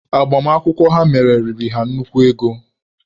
Agbamakwụkwọ ha mere riri ha nnukwu ego.